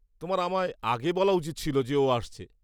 তোমার আমায় আগে বলা উচিত ছিল যে ও আসছে।